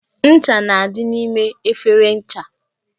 Ncha na-adị n'ime efere ncha